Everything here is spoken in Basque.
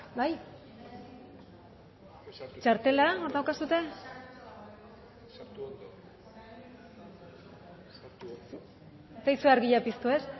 bai txartela hor dauzkazue berbotsa ez zaizue argia piztu ez